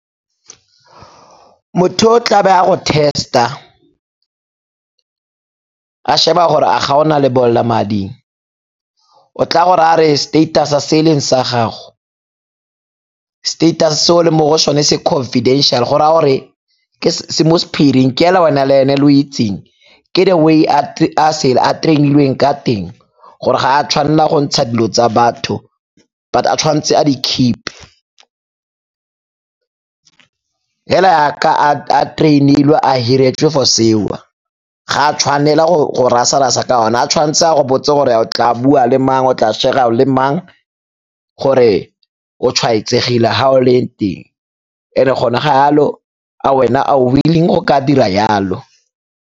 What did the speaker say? Motho o tla be a go test-a a sheba gore a ga o na lebolelamading, o tla go rayang a re status-e se e leng sa gago, status-e se o leng mo go sone se confidential go raya gore se mo sephiring ke hela wena le ene lo itseng, ke the way a train-ilweng ka teng gore ga a tshwanela go ntsha dilo tsa batho but a tshwanetse a di-keep-e. Hela yaka a train-ilwe a hiretswe for seo, ga a tshwanela go rasa-rasa ka ona, ha tshwanetse a go botse gore o tla bua le mang, o tla share-ra le mang gore o tshwaetsegile ha o leng teng. And-e hone ha yalo a wena a o willing go ka dira yalo.